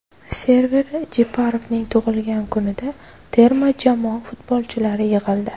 Server Jeparovning tug‘ilgan kunida terma jamoa futbolchilari yig‘ildi.